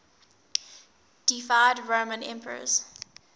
deified roman emperors